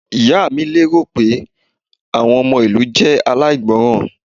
Ìyá mi lérò pé àwọn ọmọ ìlú jẹ́ aláìgbọràn.